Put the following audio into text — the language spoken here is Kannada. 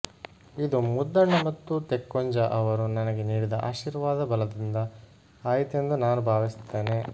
ಇದು ಮುದ್ದಣ ಮತ್ತು ತೆಕ್ಕುಂಜ ಅವರು ನನಗೆ ನೀಡಿದ ಆಶೀರ್ವಾದ ಬಲದಿಂದ ಆಯಿತೆಂದು ನಾನು ಭಾವಿಸುತ್ತೇನೆ